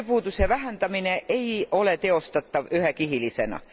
Tööpuuduse vähendamine ei ole teostatav ühekihilisena.